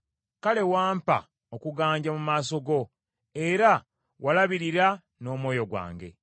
Kale wampa okuganja mu maaso go, era walabirira, n’omwoyo gwange.